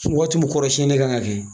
Sun waati mUn tiumu kɔrɔ siɲɛni kan ga kɛ.